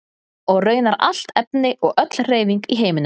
Og raunar allt efni og öll hreyfing í heiminum.